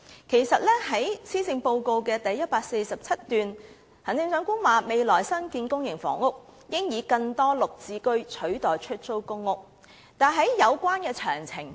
特首在施政報告第147段表示，未來的新建公營房屋應以更多"綠置居"取代出租公屋，但沒提及有關詳情。